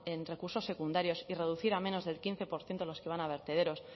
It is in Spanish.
en recursos secundarios y reducir al menos el quince por ciento de los que van a vertederos